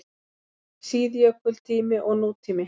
SÍÐJÖKULTÍMI OG NÚTÍMI